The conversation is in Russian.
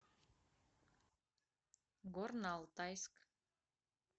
горно алтайск